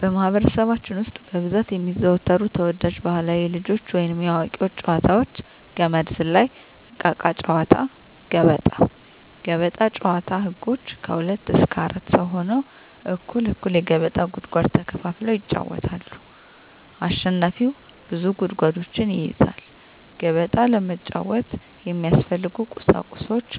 በማህበረሰባችን ውስጥ በብዛት የሚዘወተሩ ተወዳጅ ባህላዊ የልጆች ወይንም የአዋቂዎች ጨዋታዎች - ገመድ ዝላይ፣ እቃቃ ጨዎታ፣ ገበጣ። ገበጣ ጨዎታ ህጎች ከሁለት እስከ አራት ሰው ሁነው እኩል እኩል የገበጣ ጉድጓድ ተከፋፍለው ይጫወታሉ አሸናፊው ብዙ ጉድጓዶችን ይይዛል ከመሀከላቸው የተሸነፈው ሰው ይወጣል። ገበጣ ለመጫወት የሚያስፈልጊ ቁሳቁሶች